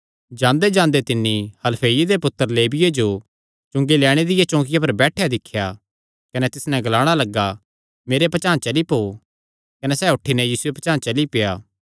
जांदेजांदे तिन्नी हलफईये दे पुत्तर लेविये जो चुंगी लैणे दिया चौकिआ पर बैठेयो दिख्या कने तिस नैं ग्लाणा लग्गा मेरे पचांह़ चली पौ कने सैह़ उठी नैं यीशुये पचांह़ चली पेआ